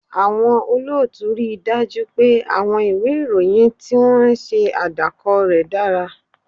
Àwọn olóòtú rí i dájú pé àwọn ìwé ìròyìn tí wọ́n ń ṣe àdàkọ rẹ̀ dára